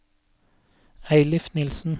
Eilif Nielsen